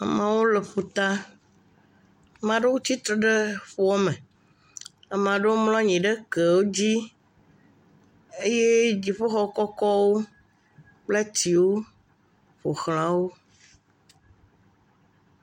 Amewo le ƒuta. Ame aɖewo tsi tre ɖe tsia me. Ame aɖewo mlɔ anyi ɖe kewo dzi eye dziƒo xɔ kɔkɔwo kple ati wò ƒoxla wò.